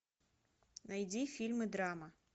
найди фильмы драма